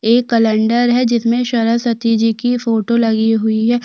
एक कैलेंडर है जिसमें सरस्वती जी की फोटो लगी हुई है।